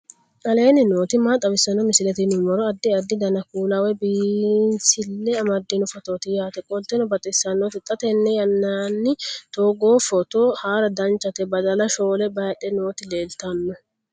aleenni nooti maa xawisanno misileeti yinummoro addi addi dananna kuula woy biinsille amaddino footooti yaate qoltenno baxissannote xa tenne yannanni togoo footo haara danchate badala shoole baydhe nooti leeltano